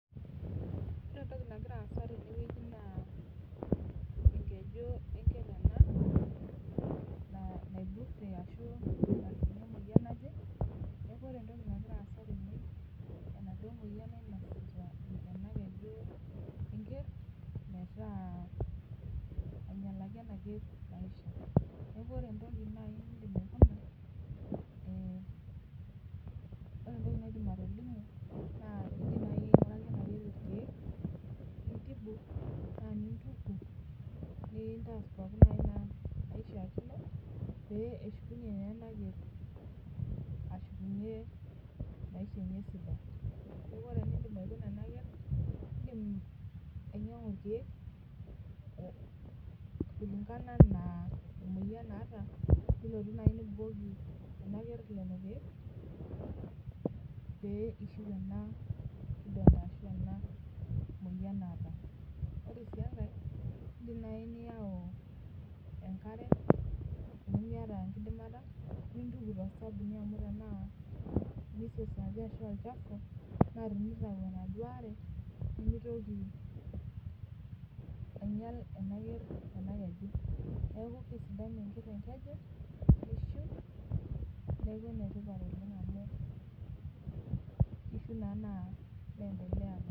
Ore entoki nagira aasa tenewueji enkeju enker ena natijing'a emuoyian naje neaku enaduo moyian nainosita engeju enker metaa ainyalaki enaker maisha Niaku ore entoki naidim atolimu naa kaidim naai ainguraki enaker ilkiek nintibu nintuku pee eshukunye naa enaker ashukunye maisha enye sidai naa iindim ainyangu ilkiek kulingana enaa emuoyian naata pee ishiu enakidonda ashu emuoyian naata Ore sii enkai naa iindim nai ayau enkare tenimiata enkidimata nintuku todabuni amu tenaa olchafu naa tenitayu enaduo are nimitoki ainyal ena ker ena keju Niake keishiu enkeju niaku enetipat oleng amu keendelea